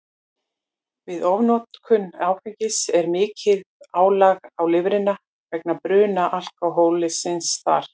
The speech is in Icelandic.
Við ofnotkun áfengis er mikið álag á lifrina vegna bruna alkóhólsins þar.